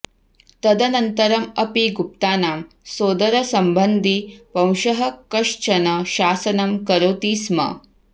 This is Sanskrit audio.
तदनन्तरम् अपि गुप्तानां सोदरसम्बन्धी वंशः कश्चन शासनं करोति स्म